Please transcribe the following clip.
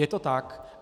Je to tak.